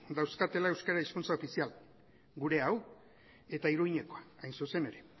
dauzkatela euskara hizkuntza ofizial gurea hau eta iruñekoa hain zuzen ere